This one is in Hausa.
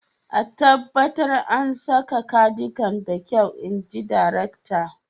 a tabbata an saka cardigan da kyau, in ji darakta